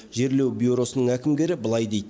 жерлеу бюросының әкімгері былай дейді